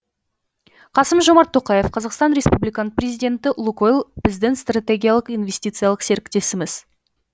қасым жомарт тоқаев қазақстан республиканың президенті лукойл біздің стратегиялық инвестициялық серіктесіміз